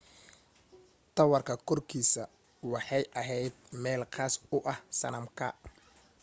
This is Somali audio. taawarka korkiisa waxay ahayd meel khaas u ah sanamka